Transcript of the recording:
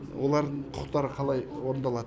олардың құқықтары қалай орындалады